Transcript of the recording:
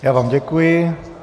Já vám děkuji.